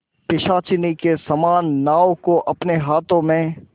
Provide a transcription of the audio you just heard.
पिशाचिनी के समान नाव को अपने हाथों में